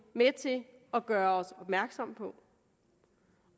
og gøre os opmærksomme på